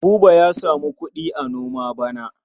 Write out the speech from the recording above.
Buba ya samu kuɗi a noma bana.